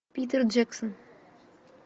питер джексон